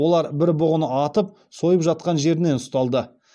олар бір бұғыны атып сойып жатқан жерінен ұсталды